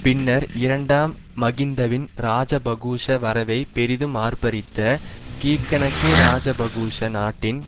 பின்னர் இரண்டாம் மகிந்தவின் இராஜபகுக்ஷ வரவைப் பெரிதும் ஆர்ப்பரித்த கீகனகே இராஜபகுக்ஷ நாட்டின்